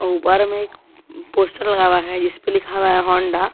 ऊपर में एक पोस्टर लगा हुआ है जिस पे लिखा हुआ है होंडा ।